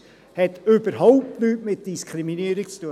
Das hat überhaupt nichts mit Diskriminierung zu tun.